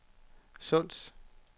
Sunds